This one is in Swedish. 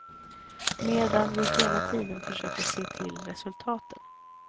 Medan vi hela tiden försöker se till resultaten.